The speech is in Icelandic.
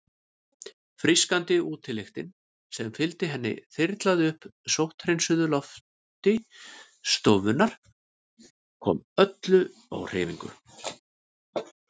Frískandi útilyktin sem fylgdi henni þyrlaði upp sótthreinsuðu lofti stofunnar, kom öllu á hreyfingu.